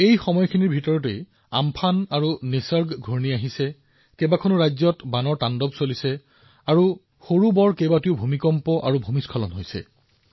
এই সময়ছোৱাত ঘূৰ্ণীবতাহ আম্ফান আহিছে ঘূৰ্ণীবতাহ নিসৰ্গ আহিছে বহুতো ৰাজ্য বানপানীত প্লাবিত হৈছে বহুতো ভূমিকম্প ডাঙৰ আৰু সৰু ভূমিস্খলন হৈছে